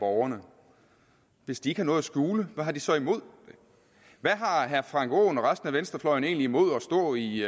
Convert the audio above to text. borgerne hvis de har noget at skjule hvad har de så imod det hvad har herre frank aaen og resten af venstrefløjen egentlig imod at stå i